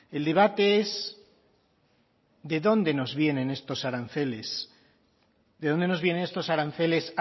el debate es de dónde nos vienen estos aranceles de dónde nos vienen estos aranceles